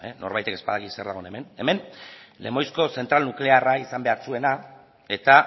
norbaitek ez badaki zer dagoen hemen hemen lemoizko zentral nuklearra izan behar zuena eta